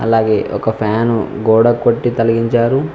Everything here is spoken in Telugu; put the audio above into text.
అలాగే ఒక ఫ్యాను గోడ కొట్టి తొలగించారు.